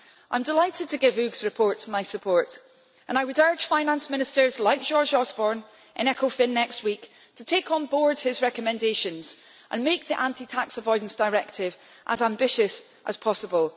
I am delighted to give Hugues' report my support and I would urge finance ministers like George Osborne in Ecofin next week to take on board his recommendations and make the Anti Tax Avoidance Directive as ambitious as possible.